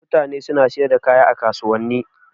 Mutane suna siyar da kaya a kasuwanni.